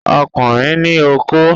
Ọkùnrin ní okó